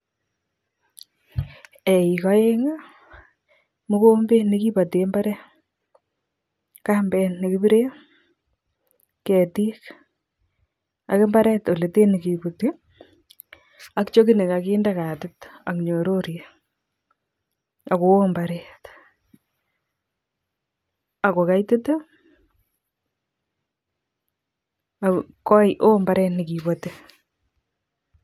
Eik aeng', mogombet nekibate mbaret, kambet ne kipire, ketik, ak imbaret ole tee nekebuti, ak chokit nekakinde katit, ak nyororet, agoo mbaret, ago kaitit, um koi oo mbaret nekibati